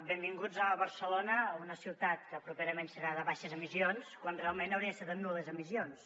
benvinguts a barcelona una ciutat que properament serà de baixes emissions quan realment hauria de ser de nul·les emissions